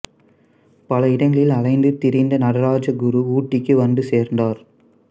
பல இடங்களில் அலைந்து திரிந்த நடராஜ குரு ஊட்டிக்கு வந்துச்சேர்ந்தார்